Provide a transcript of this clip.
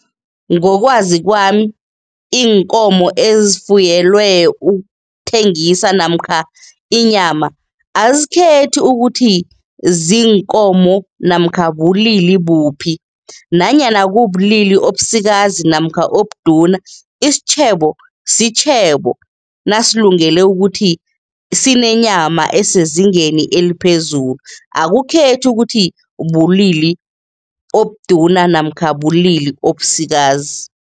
Ngokwazi kwami, iinkomo ezifuyelwe ukuthengisa namkha inyama, azikhethi ukuthi ziinkomo namkha bulili buphi nanyana kubulili obusikazi namkha obuduna. Isitjhebo sitjhebo, nasilungele ukuthi sinenyama esezingeni eliphezulu, akukhethi ukuthi bulili obuduna namkha bulili obusikazi.